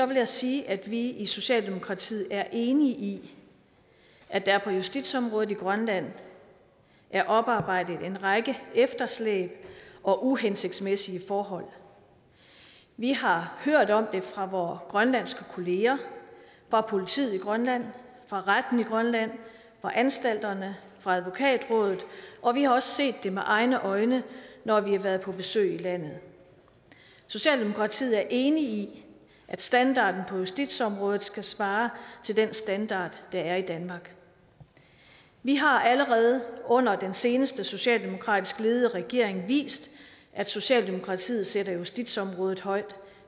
vil jeg sige at vi i socialdemokratiet er enige i at der på justitsområdet i grønland er oparbejdet en række efterslæb og uhensigtsmæssige forhold vi har hørt om dem fra vore grønlandske kolleger fra politiet i grønland fra retten i grønland fra anstalterne fra advokatrådet og vi har også set det med egne øjne når vi har været på besøg i landet socialdemokratiet er enig i at standarden på justitsområdet skal svare til den standard der er i danmark vi har allerede under den seneste socialdemokratisk ledede regering vist at socialdemokratiet sætter justitsområdet højt